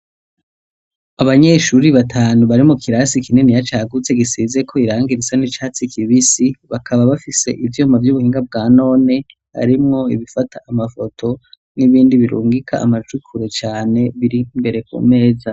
Abanyeshuri batanu bari mu kirasi ikinini ya cagutse gisizeko iranga irisa n'icatsi kibisi bakaba bafise ivyoma vy'ubuhinga bwa none arimwo ibifata amafoto n'ibindi birungika amacukure cane biri mbere ku meza.